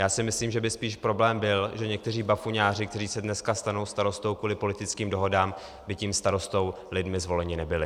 Já si myslím, že by spíš problém byl, že někteří bafuňáři, kteří se dneska stanou starostou kvůli politickým dohodám, by tím starostou lidmi zvoleni nebyli.